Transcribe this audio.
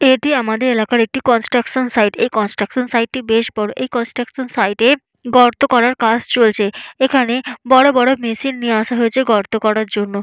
এটি আমাদের এলাকার একটি কনস্ট্রাকশন সাইট এই কনস্ট্রাকশন সাইট টি বেশ বড় এই কনস্ট্রাকশন সাইট এ গর্ত করার কাজ চলছে এখানে বড়বড় মেশিন নিয়ে আসা হয়েছে গর্ত করার জন্য।